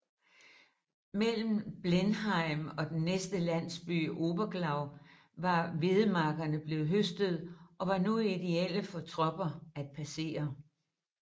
Mellem Blenheim og den næste landsby Oberglau var hvedemarkerne blevet høstet og var nu ideelle for tropper at passere